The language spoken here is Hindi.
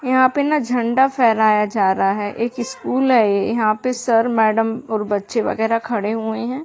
यहाँ पे न झंडा फहराया जा रहा है। एक स्कूल है। ये यहाँ पे सर मैडम और बच्चे वगैरह खड़े हुए हैं।